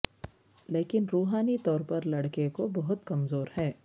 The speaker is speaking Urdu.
لیکن روحانی طور پر لڑکے کو بہت کمزور ہے